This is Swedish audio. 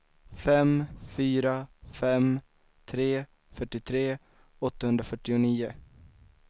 fem fyra fem tre fyrtiotre åttahundrafyrtionio